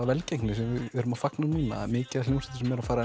velgengni sem við erum að fagna núna það mikið af hljómsveitum sem eru að fara